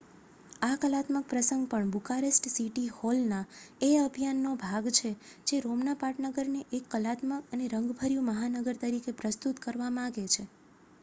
આ કલાત્મક પ્રસંગ પણ બુકારેસ્ટ સીટી હોલ ના એ અભિયાન નો ભાગ છે જે રોમના પાટનગરને એક કલાત્મક અને રંગભર્યુ મહાનગર તરીકે પ્રસ્તુત કરવા માંગે છે